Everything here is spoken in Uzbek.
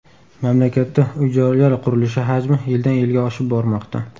Mamlakatda uy-joylar qurilishi hajmi yildan-yilga oshib bormoqda.